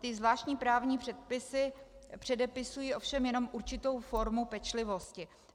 Ty zvláštní právní předpisy předepisují ovšem jenom určitou formu pečlivosti.